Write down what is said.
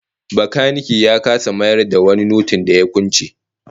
Bakanike ya kasa mayar da wani notin da ya kwance